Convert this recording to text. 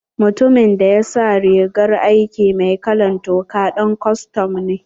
Mutumin da ya sa rigar aiki mai kalan toka ɗan custom ne.